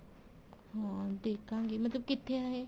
ਹਾਂ ਦੇਖਾਗੀ ਮਤਲਬ ਕਿੱਥੇ ਆ ਇਹ